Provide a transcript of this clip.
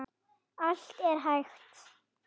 Allt er hægt!